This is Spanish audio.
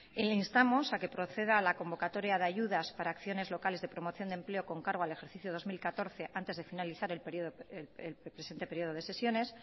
y le instamos a que proceda a la convocatoria de ayudas para acciones locales de promoción de empleo con cargo al ejercicio dos mil catorce antes de finalizar el presente período de sesiones